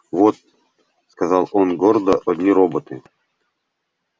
вот сказал он гордо одни роботы